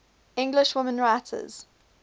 english women writers